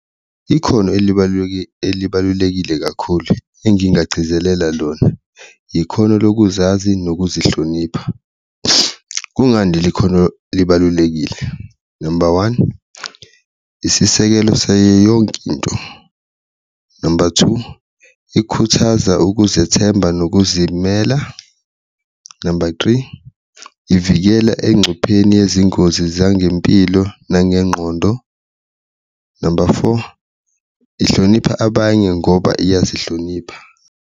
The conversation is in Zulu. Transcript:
Ikhono elibalulekile kakhulu engingagcizelela lona ikhono lokuzazi nokuzihlonipha, kungani leli khono libalulekile? Number one, isisekelo sayeyonke into, number two, ikhuthaza ukuzethemba nokuzimela, number three, ivikela engcupheni yezingozi zangempilo nangengqondo, number four, ihlonipha abanye ngoba iyazihlonipha.